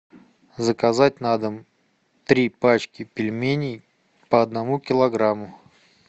заказать на дом три пачки пельменей по одному килограмму